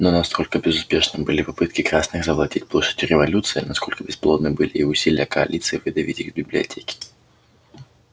но насколько безуспешным были попытки красных завладеть площадью революции настолько бесплодны были и усилия коалиции выдавить их с библиотеки